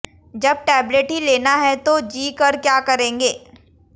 जब टेबलेट ही लेना है तो जी कर क्या करेंगे